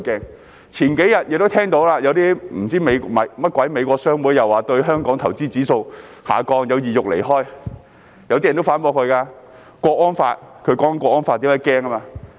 數天前，大家也聽到，那些甚麼美國商會又說對香港投資的指數下降，有意欲離開，有些人也反駁，因為通過了《香港國安法》，所以他們害怕。